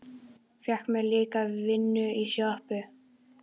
Fékk mér líka vinnu í sjoppu.